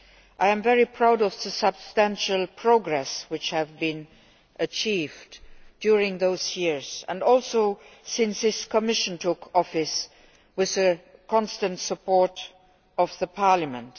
I am very proud of the substantial progress which has been achieved during those years and also since this Commission took office with the constant support of Parliament.